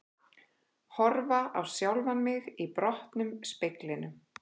Horfa á sjálfan mig í brotnum speglinum.